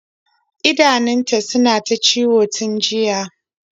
idanunta suna ta ciwon tun jiya